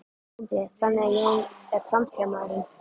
Sindri: Þannig að Jón er framtíðarmaðurinn?